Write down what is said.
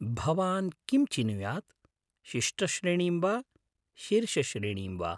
भवान् किं चिनुयात्, शिष्टश्रेणीं वा शीर्षश्रेणीं वा?